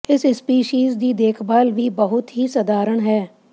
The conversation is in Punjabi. ਇਸ ਸਪੀਸੀਜ਼ ਦੀ ਦੇਖਭਾਲ ਵੀ ਬਹੁਤ ਹੀ ਸਧਾਰਨ ਹੈ